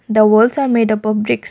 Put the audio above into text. the walls are made up of brickes.